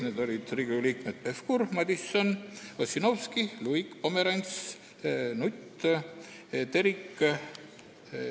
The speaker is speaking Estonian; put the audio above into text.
Need olid Riigikogu liikmed Pevkur, Madison, Ossinovski, Luik, Pomerants, Nutt, Terik ...